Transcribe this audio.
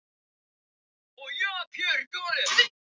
Af hjóna rúminu var ekki eftir nema kraðak af gormum.